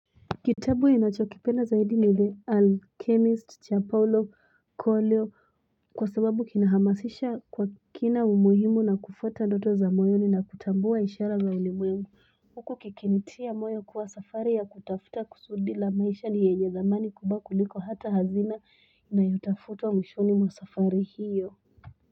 Kitabu inachokipena zaidi ni The Alchemist, Chapolo, Coelho Kwa sababu kina hamasisha kina umuhimu na kufata doto zamoyo ni na kutambua ishala wa ulimu Wuko kekiniti ya moyo kwa safare ya kutafuta kusudila maisha ni yeye zamani kubaku liko hata hazina na yutafutwa mishoni mwasafari hiyo.